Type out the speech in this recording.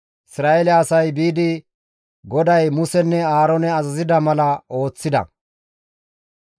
Isra7eele asay biidi GODAY Musenne Aaroone azazida mala ooththides.